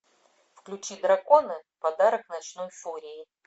включи драконы подарок ночной фурии